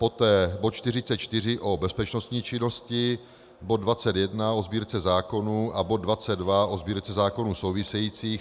Poté bod 44 o bezpečnostní činnosti, bod 21 o Sbírce zákonů a bod 22 o Sbírce zákonů, souvisejících.